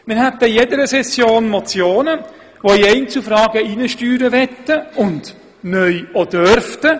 Wir hätten in jeder Session Motionen, welche in Einzelfragen hineinsteuern wollten und dies neu auch dürften.